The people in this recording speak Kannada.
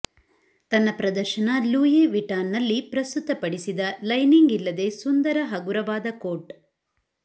ತನ್ನ ಪ್ರದರ್ಶನ ಲೂಯಿ ವಿಟಾನ್ನಲ್ಲಿ ಪ್ರಸ್ತುತಪಡಿಸಿದ ಲೈನಿಂಗ್ ಇಲ್ಲದೆ ಸುಂದರ ಹಗುರವಾದ ಕೋಟ್